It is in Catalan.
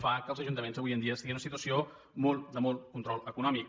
fa que els ajuntaments avui en dia estiguin en una situació de molt control econòmic